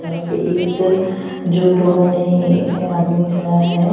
यहां पे एक जूडो वाले आदमी खड़ा है।